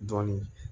Dɔɔnin